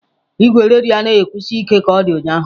Igwe redio anaghị akwụsi ike ka ọ dị ụnyahụ.